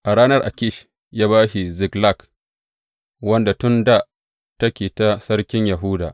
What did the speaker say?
A ranar Akish ya ba shi Ziklag wanda tun dā take ta sarkin Yahuda.